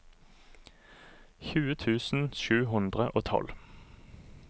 tjue tusen sju hundre og tolv